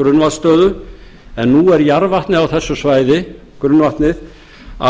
grunnvatnsstöðu en nú er jarðvatnið á þessu svæði grunnvatnið